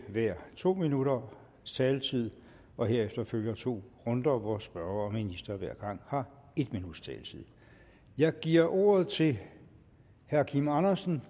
hver to minutters taletid og herefter følger to runder hvor spørger og minister hver gang har en minuts taletid jeg giver ordet til herre kim andersen